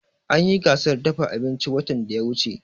An yi gasar dafa abinci watan da ya wuce